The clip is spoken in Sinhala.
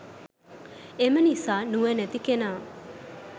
එම නිසා නුවණැති කෙනා